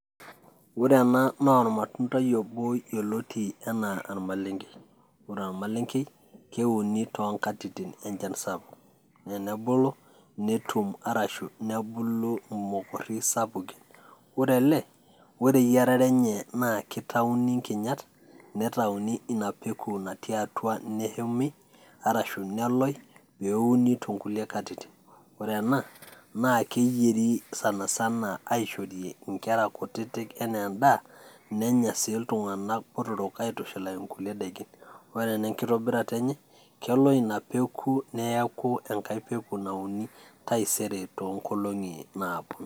Ore ena naa ormatundai obo yoloti enaa ormaleng'e. ore ormaleng'ei keuni too nkatitin enchan sapuk naa enebulu netum arashu nebulu mokori sapukin. Ore ele ore eyiarare enye naa kitauni nkinyat, nitauni ina peku natii atua neshumi arashu neloi pee euni too nkulie katitin. Ore ena naa keyeri sana sana aishorie nkera kutitik enaa endaa nenya sii iltung'anak botorok aitushulaki nkulie daikin. Ore ena enkitobirata enye kelo ina peku neeku enkae peku nauni taisere too nkolong'i naaponu.